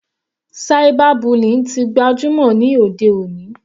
Cyber bullying tí gbajúmọ̀ ní òde òní.